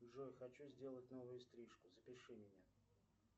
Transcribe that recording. джой хочу сделать новую стрижку запиши меня